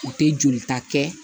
U tɛ jolita kɛ